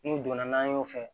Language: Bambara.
N'u donna n'an y'o fɛ